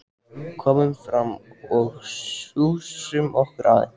Komum fram og sjússum okkur aðeins.